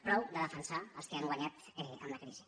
prou de defensar els que han guanyat amb la crisi